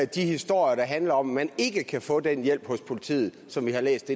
de historier der handler om at man ikke kan få den hjælp hos politiet som vi har læst